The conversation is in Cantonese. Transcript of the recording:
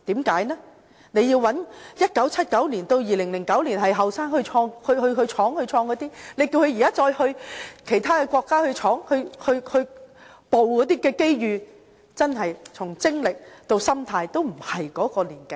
在1979年至2009年屬於年青一代，當時去闖去創業的那些人，如果現時再由他們到其他國家去闖去捕捉機遇的話，真的從精力到心態都不再年輕了。